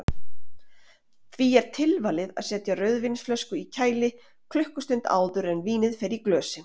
Því er tilvalið að setja rauðvínsflösku í kæli klukkustund áður en vínið fer í glösin.